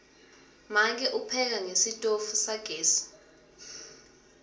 make upheka ngesitofu sagesi